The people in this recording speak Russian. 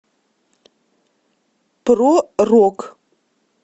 про рок